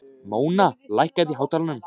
Móna, lækkaðu í hátalaranum.